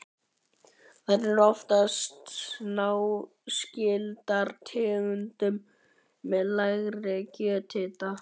Þær eru einnig oftast náskyldar tegundum með lægri kjörhita.